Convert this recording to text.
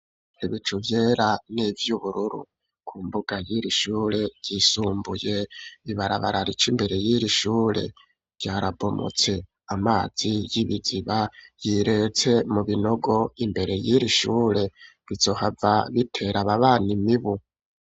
Ibicu vyera n'ivy'ubururu, ku mbuga y'iri shure ryisumbuye i barabara rica imbere y'iri shure ryarabomotse amazi y'ibiziba yiretse mu binogo imbere yiri shure bizohava bitera ababanyi imibu.